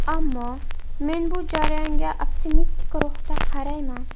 Ammo men bu jarayonga optimistik ruhda qarayman.